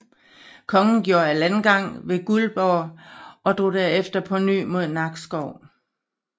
Kongen gjorde landgang ved Guldborg og drog herefter på ny imod Nakskov